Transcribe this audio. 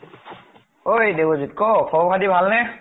ঐ দেৱজিত ক, খবৰ খাতি ভাল নে ?